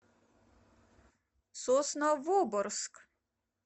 сосновоборск